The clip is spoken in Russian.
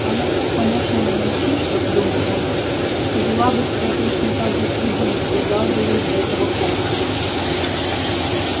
она так помешана на мальчишках думал он что вела бы себя точно так же с любым кто дал бы ей для этого повод